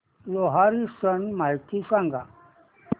लोहरी सण माहिती सांगा